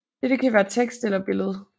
Dette kan være tekst eller billede